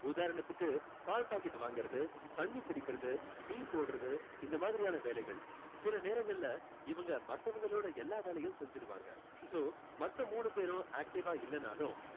உதாரணத்துக்கு பால் packet வாங்குறது தண்ணி புடிக்கிறது tea போடுறது இந்த மாதிரியான வேலைகள் சில நேரங்களில இவங்க மத்தவங்களோட எல்லா வேலையயும் செஞ்சுடுவாங்க so மத்த மூணு பேரும் active ஆ இல்லைன்னாலும்